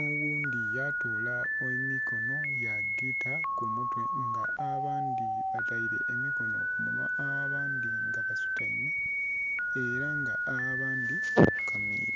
Oghundhi yatola emikonho ya gita ku mutwe nga abandhi bateire emikonho ku minhwa, nga abandhi basutaime era nga abandhi bafukamire.